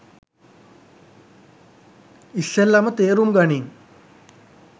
ඉස්සෙල්ලම තේරුම් ගනින්